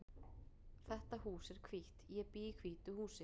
Þetta hús er hvítt. Ég bý í hvítu húsi.